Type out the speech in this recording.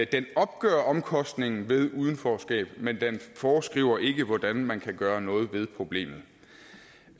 den opgør omkostningen ved udenforskab men den foreskriver ikke hvordan man kan gøre noget ved problemet